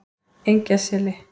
Engjaseli